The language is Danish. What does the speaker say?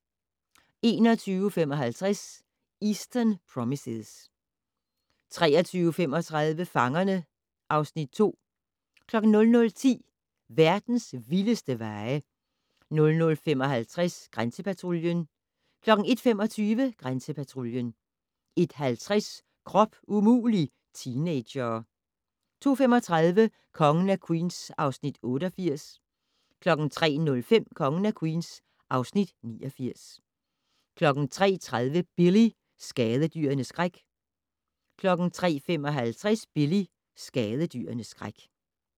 21:55: Eastern Promises 23:35: Fangerne (Afs. 2) 00:10: Verdens vildeste veje 00:55: Grænsepatruljen 01:25: Grænsepatruljen 01:50: Krop umulig - teenagere 02:35: Kongen af Queens (Afs. 88) 03:05: Kongen af Queens (Afs. 89) 03:30: Billy - skadedyrenes skræk 03:55: Billy - skadedyrenes skræk